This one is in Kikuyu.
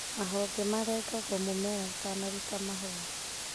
mahonge marengagwo mũmera ũtanaruta mahũa.